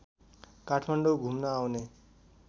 काठमाडौँ घुम्न आउने